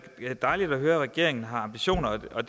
da dejligt at høre at regeringen har ambitioner og